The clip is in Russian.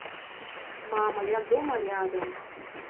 мама я дома рядом